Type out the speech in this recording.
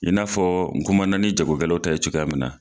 I n'a fɔ n kumana ni jagokɛlaw ta ye cogoya min na